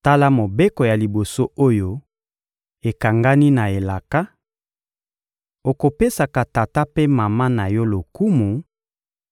Tala mobeko ya liboso oyo ekangani na elaka: Okopesaka tata mpe mama na yo lokumu